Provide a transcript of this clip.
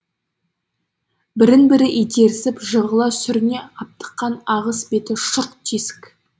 бірін бірі итерісіп жығыла сүріне аптыққан ағыс беті шұрқ тесік